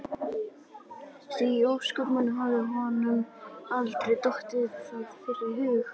Því í ósköpunum hafði honum aldrei dottið það fyrr í hug?